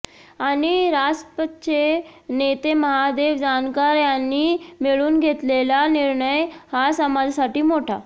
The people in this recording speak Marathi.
आणि रासपचे नेते महादेव जानकर यांनी मिळून घेतलेला निर्णय हा समाजासाठी मोठा